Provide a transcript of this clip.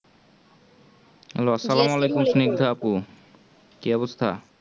আপু কি অবস্থা